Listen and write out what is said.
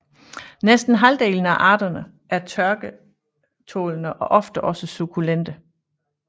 Næsten halvdelen af arterne er tørketålende og ofte også sukkulente